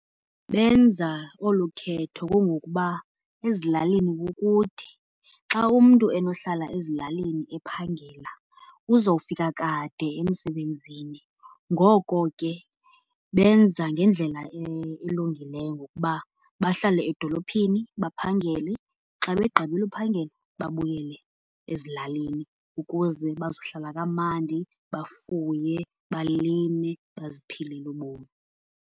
Benza olu khetho kungokuba ezilalini kukude. Xa umntu enohlala ezilalini ephangela uzofika kade emsebenzini. Ngoko ke benza ngendlela elungileyo ngokuba bahlale edolophini baphangele xa begqibile uphangela babuyele ezilalini ukuze bazohlala kamandi bafuye, balime, baziphilele ubomi.